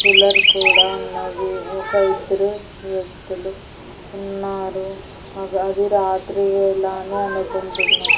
Cooler కూడా ఉన్నది ఒక ఇద్దరు వ్యక్తులు ఉన్నారు అది అది రాత్రి వేళా అని అనుకుంటున్నా.